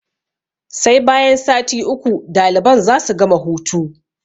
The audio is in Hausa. Sai bayan sati uku daliban za su gama hutu.